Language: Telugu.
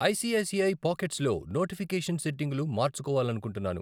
I C I C I pockets లో నోటిఫికేషన్ సెట్టింగులు మార్చుకోవాలనుకుంటున్నాను. .